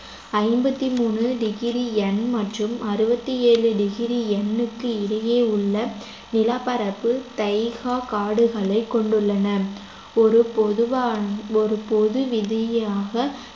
ஐம்பத்தி மூணு degree N மற்றும் அறுபத்தி ஏழு degree N க்கு இடையே உள்ள நிலப்பரப்பு தைகா காடுகளைக் கொண்டுள்ளன ஒரு பொதுவான பொது விதியாக